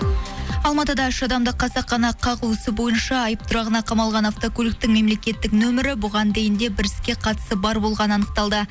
алматыда үш адамды қасақана қағу ісі бойынша айып тұрағына қамалған автокөліктің мемлекеттік нөмірі бұған дейін де бір іске қатысы бар болғаны анықталды